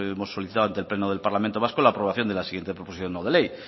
hemos solicitado ante el pleno del parlamento vasco la aprobación de la siguiente proposición no de ley